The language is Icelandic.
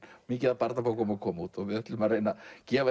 mikið af barnabókum að koma út og við ætlum að reyna að gefa